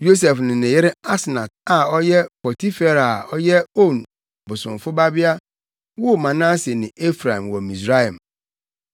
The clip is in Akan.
Yosef ne ne yere Asnat, a ɔyɛ Potifera a ɔyɛ On bosomfo babea woo Manase ne Efraim wɔ Misraim.